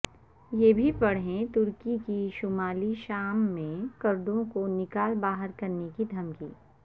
یہ بھی پڑھیں ترکی کی شمالی شام میں کردوں کو نکال باہرکرنے کی دھمکی